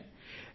Vinayak